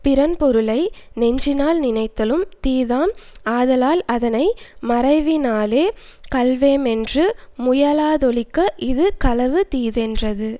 பிறன் பொருளை நெஞ்சினால் நினைத்தலும் தீதாம் ஆதலால் அதனை மறைவினாலே கள்வேமென்று முயலாதொழிக இது களவு தீதென்றது